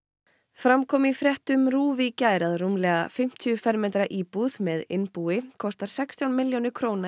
fram kom í fréttum RÚV í gær að rúmlega fimmtíu fermetra íbúð með innbúi kostar sextán milljónir króna